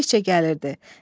Gəldikcə gəlirdi.